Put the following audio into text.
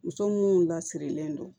Muso minnu lasirilen don